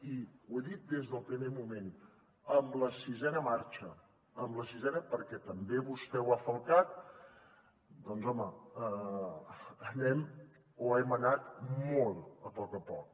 i ho he dit des del primer moment amb la sisena marxa amb la sisena perquè també vostè ho ha falcat doncs home anem o hem anat molt a poc a poc